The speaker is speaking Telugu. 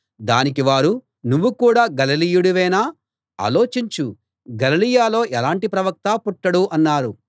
దానికి వారు నువ్వు కూడా గలిలయుడవేనా ఆలోచించు గలిలయలో ఎలాంటి ప్రవక్తా పుట్టడు అన్నారు